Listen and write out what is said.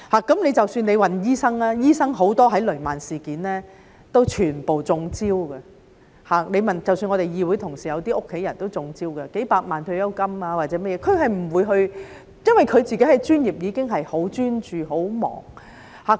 即使是醫生，很多醫生在雷曼事件都"中招"。即使一些議員同事的家人都"中招"，損失幾百萬元退休金或甚麼的，因為他們自己是專業人士，已經很專注工作、很忙。